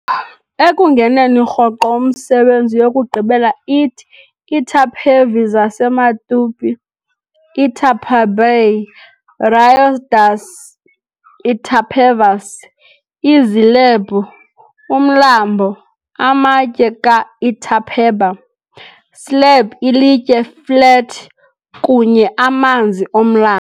ekungeneni rhoqo umsebenzi yokugqibela ithi - "ITAPEVI, zaseMatupi, Itä-peb'y - Rio das itapevas, Iizilebhu umlambo amatye, ka Itä-peba, slab ilitye flat, kunye, amanzi omlambo.